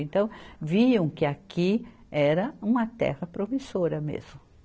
Então, viam que aqui era uma terra promissora mesmo.